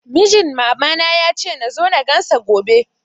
Mijin mama na ya ce nazo na gan sa gobe